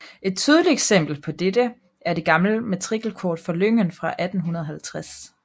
Et tydeligt eksempel på dette er det gamle matrikelkort fra lyngen fra 1850